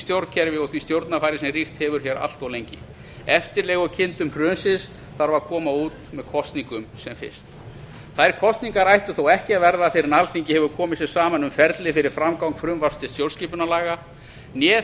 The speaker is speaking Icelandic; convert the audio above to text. stjórnkerfi og því stjórnarfari sem ríkt hefur allt of lengi eftirlegukindum hrunsins þarf að koma út með kosningum sem fyrst þær kosningar ættu þó ekki að verða fyrr en alþingi hefur komið sér saman um ferli fyrir framgang frumvarps til stjórnskipunarlaga né